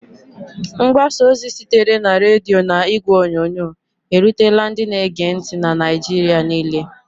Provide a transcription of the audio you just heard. Mgbasa ozi sitere na redio na igwe onyonyo, erutela ndị na-ege ntị na Naịjirịa niile.